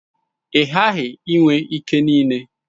Ị gaghị enwe ike niile.